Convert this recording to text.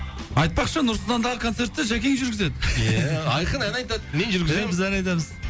айтпақшы нұр сұлтандағы концертті жәкең жүргізеді ия айқын ән айтады мен жүргіземін ия біз ән айтамыз